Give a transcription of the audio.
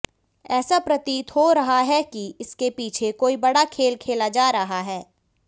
ऐसा प्रतीत हो रहा हैकि इसके पीछे कोई बड़ा खेल खेला जा रहा है